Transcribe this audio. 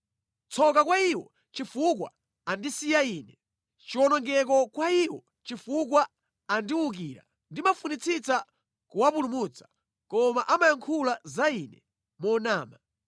Tsoka kwa iwo, chifukwa andisiya Ine! Chiwonongeko kwa iwo, chifukwa andiwukira! Ndimafunitsitsa kuwapulumutsa koma amayankhula za Ine monama.